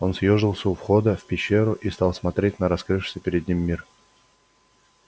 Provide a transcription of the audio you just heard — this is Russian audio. он съёжился у входа в пещеру и стал смотреть на открывшийся перед ним мир